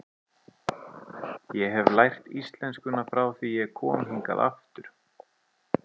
Ég hef lært íslenskuna frá því ég kom hingað aftur.